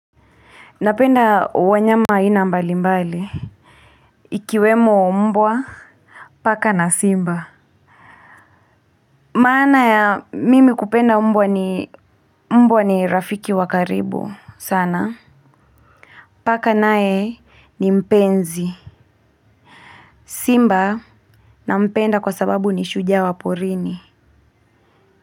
Napenda wanyama aina mbali mbali. Ikiwemo mbwa. Paka na simba. Maana ya mimi kupenda mbwa ni mbwa ni rafiki wa karibu sana. Paka naye ni mpenzi. Simba nampenda kwa sababu ni shujaa wa porini.